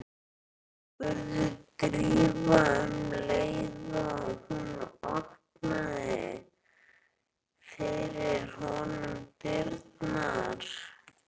spurði Drífa um leið og hún opnaði fyrir honum dyrnar.